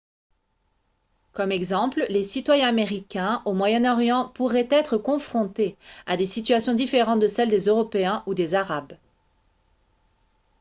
comme exemple les citoyens américains au moyen-orient pourraient être confrontés à des situations différentes de celles des européens ou des arabes